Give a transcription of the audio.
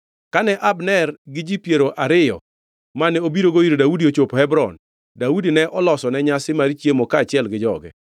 Kane Abner gi ji piero ariyo mane obirogo ir Daudi ochopo Hebron, Daudi ne olosone nyasi mar chiemo kaachiel gi joge.